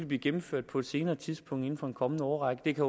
blive gennemført på et senere tidspunkt inden for de kommende år det kan